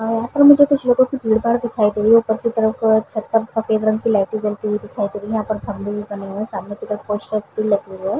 अ यहाँ पर मुझे कुछ लोगो की भीड़-भाड़ दिखाई दे रही है ऊपर की तरफ छत पर सफेद रंग की लाइटे जलती हुई दिखाई दे रही है यहाँ पर खंभे बने हुए है सामने की तरफ --